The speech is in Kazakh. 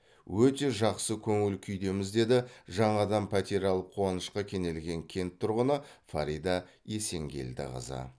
өте жақсы көңіл күйдеміз деді жаңадан пәтер алып қуанышқа кенелген кент тұрғыны фарида есенгелдіқызы